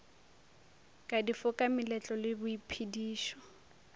ka difoka meletlo le boiphedišo